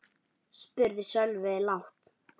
spurði Sölvi lágt.